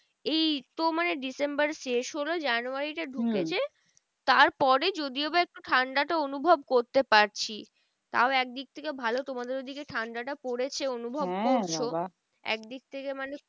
এই তো মানে ডিসেম্বর শেষ হলো জানুয়ারিটা ঢুকেছে তার পরে যদিও বা একটু ঠান্ডাটা অনুভব করতে পারছি। তাও একদিক থেকে ভালো তোমাদের ওই দিকে ঠান্ডা তা পরেছে অনুভব করছো। এক দিক থেকে মানে খুবই